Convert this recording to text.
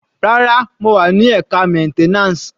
Rárá, mo wà ni ẹka maintenance.